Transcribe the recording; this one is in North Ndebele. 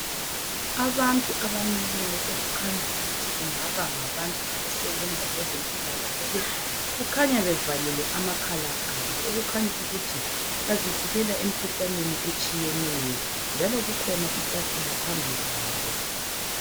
Abantu abamileyo okukhanya ukuthi ngabantu bezempilakahle bazivikela kumikhuhlane etshiyeneyo njalo kukhona itafula phambi kwabo